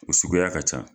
O suguya ka ca